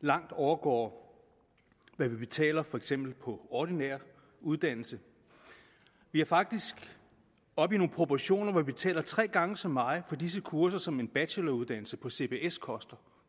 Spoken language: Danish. langt overgår hvad vi betaler på for eksempel ordinær uddannelse vi er faktisk oppe i nogle proportioner hvor vi betaler tre gange så meget for disse kurser som en bacheloruddannelse på cbs koster